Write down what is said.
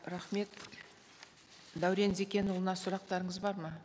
рахмет дәурен зекенұлына сұрақтарыңыз бар ма